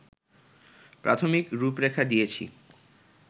প্রাথমিক রূপরেখা দিয়েছি